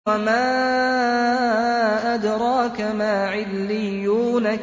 وَمَا أَدْرَاكَ مَا عِلِّيُّونَ